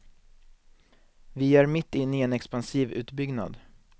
Vi är mitt inne i en expansiv utbyggnad.